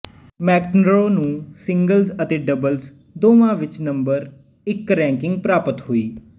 McEnroe ਨੂੰ singles ਅਤੇ doubles ਦੋਵਾਂ ਵਿੱਚ ਨੰਬਰ ਇੱਕ ਰੈਂਕਿੰਗ ਪ੍ਰਾਪਤ ਹੋਈ